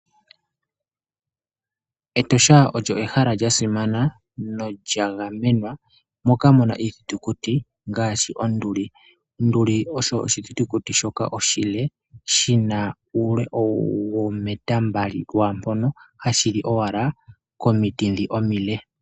Etosha olyo ehala dja simana nodja gamenwa, moka muna iithitukuti ngaashi onduli. Onduli osho oshi thitukuti shoka oshile shina uule woo meta mbali lwaa mpono, hashili owala komiti ndhi omile.